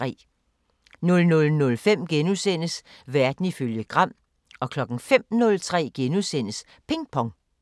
00:05: Verden ifølge Gram * 05:03: Ping Pong *